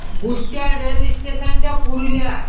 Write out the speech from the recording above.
উস্তার rail station টা পুরুলিয়ার ।